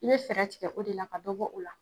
I be fɛrɛ tigɛ o de la ka dɔ bɔ o la